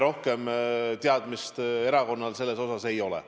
Rohkem teadmist erakonnal selle kohta ei ole.